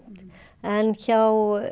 en hjá